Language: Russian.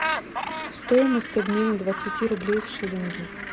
стоимость обмена двадцати рублей в шиллинги